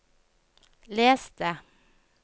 les det